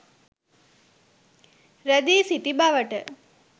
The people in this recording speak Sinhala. රැඳී සිටි බවට